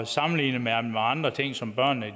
sammenligner man med andre ting som børnene